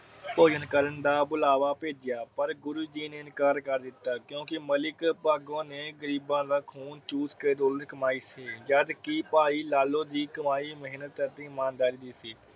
ਭੋਜਨ ਕਰਨ ਦਾ ਬੁਲਾਵਾ ਪੇਜਿਯਾ ਪਰ ਗੁਰੂ ਜੀ ਨੇ ਇਨਕਾਰ ਕਰ ਦਿਤਾ। ਕਿਉਂਕਿ ਮਲਿਕ ਭਾਗੋ ਨੇ ਗਰੀਬਾ ਦਾ ਖੂਨ ਚੂਸ ਕੇ ਦੌਲਤ ਕਮਾਈ ਸੀ। ਜਦ ਕਿ ਭਾਈ ਲਾਲੁ ਦੀ ਕਮਾਈ ਮਿਹਨਤ ਅਤੇ ਇਮਾਨਦਾਰੀ ਸੀ।